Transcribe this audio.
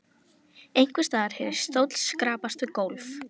Einhvers staðar heyrðist stóll skrapast við gólf.